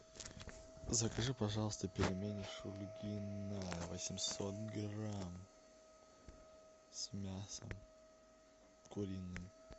закажи пожалуйста пельмени шульгина восемьсот грамм с мясом куриным